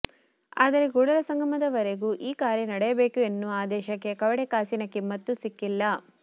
ಆದರೆ ಕೂಡಲ ಸಂಗಮದವರೆಗೂ ಈ ಕಾರ್ಯ ನಡೆಯಬೇಕು ಎನ್ನುವ ಆದೇಶಕ್ಕೆ ಕವಡೆ ಕಾಸಿನ ಕಿಮ್ಮತ್ತೂ ಸಿಕ್ಕಿಲ್ಲ